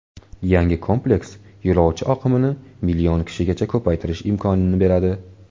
Yangi kompleks yo‘lovchi oqimini million kishigacha ko‘paytirish imkonini beradi.